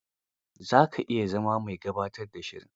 Za ka iya zama mai gabatar da shiri.